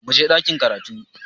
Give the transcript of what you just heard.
Muje ɗakin karatu!